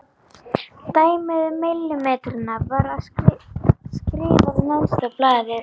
Dæmið um millimetrana var skrifað neðst á blaðið.